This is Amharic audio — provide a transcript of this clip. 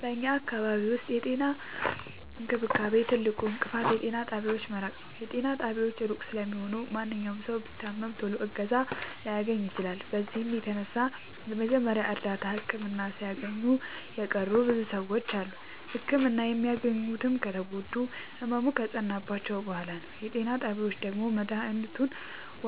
በኛ አካባቢ ዉስጥ የጤና እንክብካቤ ትልቁ እንቅፋት የጤና ጣቢያዎች መራቅ ነዉ። ጤና ጣቢያዎች እሩቅ ስለሆኑ ማንኛዉም ሠዉ ቢታመም ቶሎ እገዛ ላያገኝ ይችላል። በዚህም የተነሣ የመጀመሪያ እርዳታ ህክምና ሣያገኙ የቀሩ ብዙ ሰዎች አሉ። ህክምና የሚሄዱትም ከተጎዱና ህመሙ ከፀናባቸዉ በሗላ ነዉ። የጤና ጣቢያዎች ደግሞ መድሀኒቱን